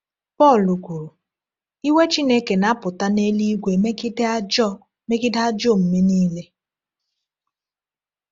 Pọl kwuru: “Iwe Chineke na-apụta n’eluigwe megide ajọ megide ajọ omume niile.”